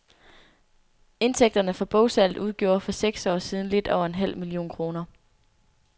Indtægterne fra bogsalget udgjorde for seks år siden lidt over en halv million kroner.